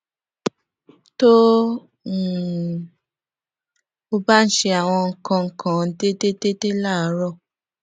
tó um o bá ń ṣe àwọn nǹkan kan déédéé déédéé láàárò